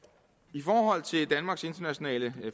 i forhold til danmarks internationale